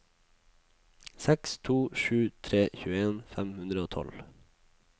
seks to sju tre tjueen fem hundre og tolv